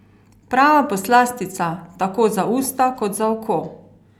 Prava poslastica, tako za usta, kot za oko!